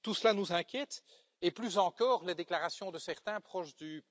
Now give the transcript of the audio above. Plus inquiétantes encore, les déclarations de certains proches du